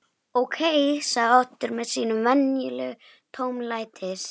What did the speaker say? Ókei sagði Oddur með sínum venjulega tómlætis